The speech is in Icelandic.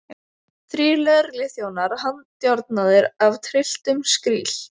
Þrír lögregluþjónar handjárnaðir af trylltum skríl.